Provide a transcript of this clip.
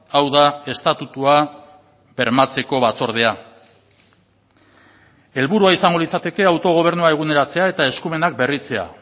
hau da estatutua bermatzeko batzordea helburua izango litzateke autogobernua eguneratzea eta eskumenak berritzea